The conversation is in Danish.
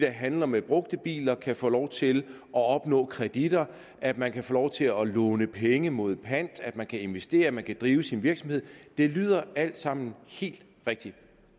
handler med brugte biler kan få lov til at opnå kreditter at man kan få lov til at låne penge mod pant at man kan investere at man kan drive sin virksomhed det lyder alt sammen helt rigtigt